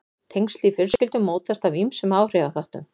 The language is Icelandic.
Tengsl í fjölskyldum mótast af ýmsum áhrifaþáttum.